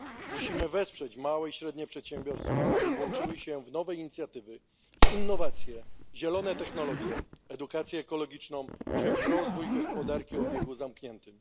Musimy wesprzeć małe i średnie przedsiębiorstwa, aby włączyły się w nowe inicjatywy, innowacje, zielone technologie, edukację ekologiczną czy w rozwój gospodarki o obiegu zamkniętym.